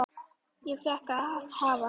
Ég fékk að hafa